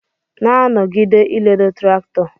Na nọgide iledo traktọ!!